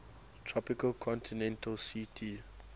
tropical continental ct